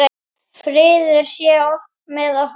Friður sé með okkur.